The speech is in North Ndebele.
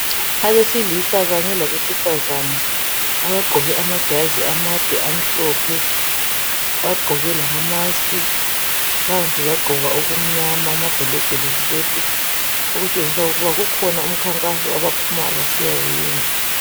Abesilisa kanye labesifazana abagqoke amajazi amade amhlophe bagqoke lama mask phansi bagqoka okunyama amabhulugwe le skirt okutshengisa kukhona umnkhankaso abaphuma besiyawuyenza